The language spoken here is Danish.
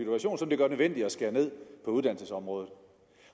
at vi at skære ned på uddannelsesområdet